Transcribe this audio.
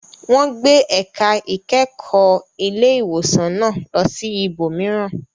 Wọn gbé ẹ̀ka ìkẹ́kọ̀ọ́ ilé ìwòsàn náà lọ sí ibòmíràn..